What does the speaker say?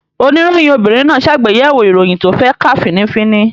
Oníròyìn obìnrin náà ṣàgbéyẹ̀wò ìròyìn tó fẹ́ kà fín-ní-fín-ní